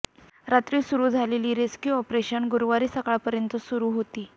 रात्री सुरू झालेले रेस्क्यू ऑपरेशन गुरुवारी सकाळपर्यंत सुरू होते